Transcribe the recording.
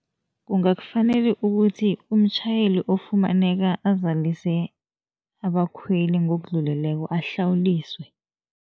Kungakufanele ukuthi umtjhayeli ofumaneka azalise abakhweli ngokudluleleko ahlawuliswe.